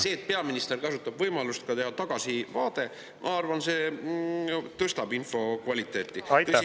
See, et peaminister kasutab võimalust teha tagasivaade, ma arvan, tõstab info kvaliteeti.